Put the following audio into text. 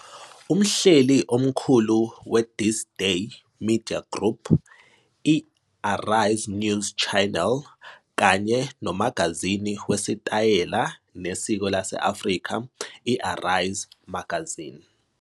Umhleli-omkhulu we- THISDAY Media Group, i- ARISE News Channel kanye nomagazini wesitayela nesiko lase-Afrika i- "ARISE Magazine."